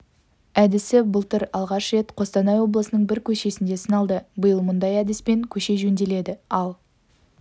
әдісі былтыр алғаш рет қостанай облысының бір көшесінде сыналды биыл мұндай әдіспен көше жөнделді ал